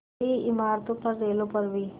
बड़ी इमारतों पर रेलों पर भी